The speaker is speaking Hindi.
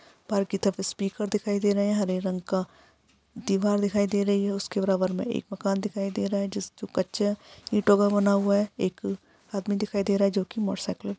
बाहर की तरफ स्पीकर दिखाई दे रहे है। हरे रंग का दीवार दिखाई दे रही है। उसके बराबर मे एक मकान दिखाई दे रहा है। जिस जो कच्चा ईंटों का बना हुआ है। एक आदमी दिखाई दे रहा है जो की मोटरसाइकिल --